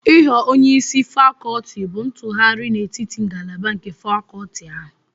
Ịghọ onye isi fakolti bụ ntụgharị n'etiti ngalaba nke fakolti ahụ.